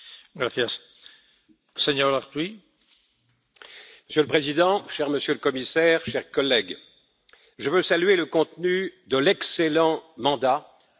Monsieur le Président, cher Monsieur le Commissaire, chers collègues, je veux saluer le contenu de l'excellent mandat préparé par notre rapporteur général Daniele Viotti.